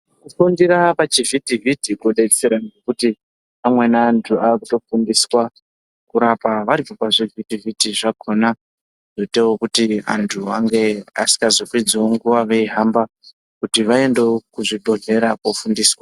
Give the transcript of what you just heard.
Kufundira pachivhiti vhiti kudetsera kuti amweni antu vazofundiswa kurapa vari pazvivhiti vhiti zvakhona zvoitawo kuti vantu ange asikazopedziwo nguwa veihamba kuti vaendewo kuzvibhedhlera kofundiswa.